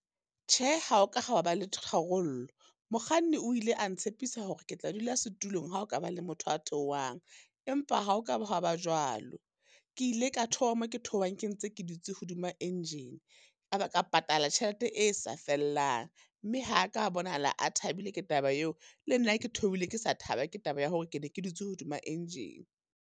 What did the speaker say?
Tjhe, ha ho ka hwa ba le tharollo, mokganni o ile a ntshepisa hore ke tla dula setulong ha ho ka ba le motho a theohang. Empa ha o ka ba hwa ba jwalo, ke ile ka theoha mo ke theohang ke ntse ke dutse hodima engine, ka ba ka patala tjhelete e sa fellang. Mme ha a ka bonahala a thabile ke taba eo, le nna ke theohile ke sa thaba ke taba ya hore ke ne ke dutse hodima engine.